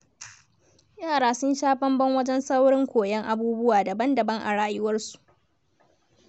Yara sun sha bamban wajen saurin koyon abubuwa daban-daban a rayuwarsu.